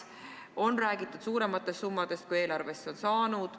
On räägitud suurematest summadest, kui eelarvesse on saanud.